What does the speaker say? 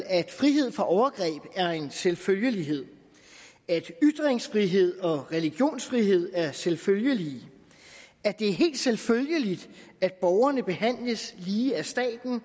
at frihed fra overgreb er en selvfølgelighed at ytringsfrihed og religionsfrihed er selvfølgeligt at det er helt selvfølgeligt at borgerne behandles lige af staten og